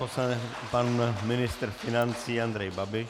Pan ministr financí Andrej Babiš.